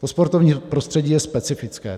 To sportovní prostředí je specifické.